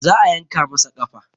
Za a yanka masa ƙafa